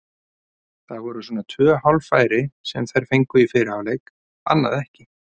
Það voru svona tvö hálffæri sem þær fengu í fyrri hálfleik, annað ekki.